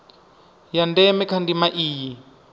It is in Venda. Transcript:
ha ndeme kha ndima iyi